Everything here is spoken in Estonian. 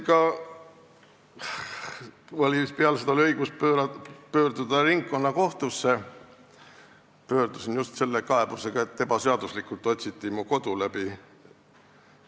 Mul oli õigus pöörduda ringkonnakohtusse ja ma pöördusin sinna just selle kaebusega, et mu kodu otsiti ebaseaduslikult läbi.